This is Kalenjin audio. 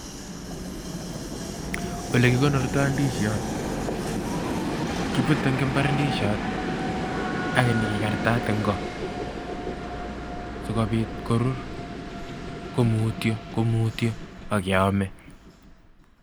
Ole kikonortoi ndisiot. Kibute eng' imbar ndisiot ak nyikikartat eng' koo sikobit korur komutyo komutyo ak keamei.